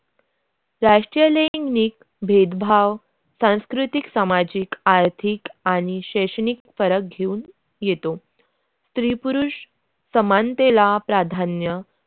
राष्ट्रीय लैंगिक भेदभाव सांस्कृतिक सामाजिक आर्थिक आणि शैक्षणिक फरक घेऊन येतो स्त्री-पुरुष समानतेल प्रधान्य.